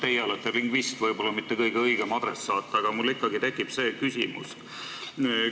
Teie olete lingvist, võib-olla mitte kõige õigem adressaat, aga mul ikkagi see küsimus tekib.